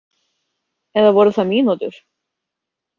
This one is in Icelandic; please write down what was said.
Eða voru það mínútur?